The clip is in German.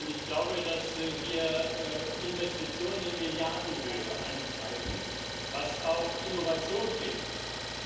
Ich glaube, dass wir Investitionen in Milliardenhöhe antreiben, was auch Innovationen bringen wird.